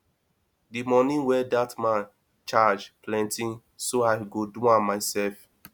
the money wey dat man charge plenty so i go do am myself